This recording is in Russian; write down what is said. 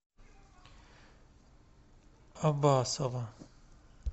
абасова